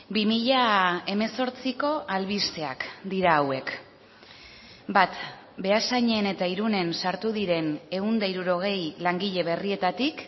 bi mila hemezortziko albisteak dira hauek bat beasainen eta irunen sartu diren ehun eta hirurogei langile berrietatik